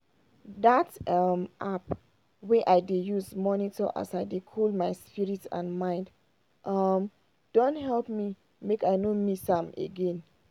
dat um app wey i dey use monitor as i dey cool my spirit and mind um don help me make i no miss am again.